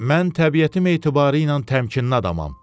Mən təbiətim etibarilə təmkinli adamam.